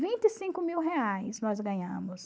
vinte e cinco mil reais nós ganhamos.